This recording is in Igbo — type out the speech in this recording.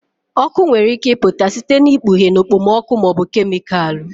Ọkụ nwere ike ịpụta site na ikpughe na okpomọkụ ma ọ bụ kemịkalụ